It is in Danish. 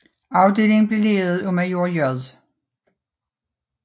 Afdelingen blev ledet af major J